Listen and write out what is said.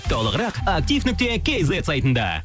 толығырақ актив нүкте кейзет сайтында